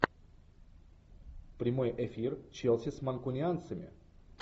прямой эфир челси с манкунианцами